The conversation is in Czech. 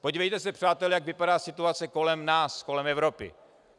Podívejte se, přátelé, jak vypadá situace kolem nás, kolem Evropy.